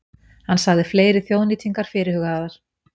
Hann sagði fleiri þjóðnýtingar fyrirhugaðar